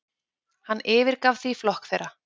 Hann yfirgaf því flokk þeirra.